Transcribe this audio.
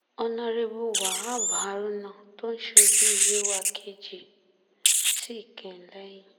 ọ̀nàrẹ́bùwahab haruna tó ń ṣojú yewa kejì sì kín in lẹ́yìn